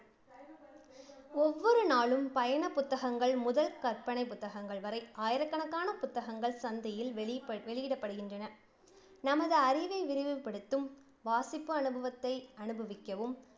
ஒவ்வொரு நாளும் பயண புத்தகங்கள் முதல் கற்பனை புத்தகங்கள் வரை ஆயிரக்கணக்கான புத்தகங்கள் சந்தையில் வெளிப்ப~ வெளியிடப்படுகின்றன. நமது அறிவை விரிவுபடுத்தும், வாசிப்பு அனுபவத்தை அனுபவிக்கவும்